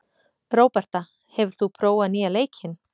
Róberta, hefur þú prófað nýja leikinn?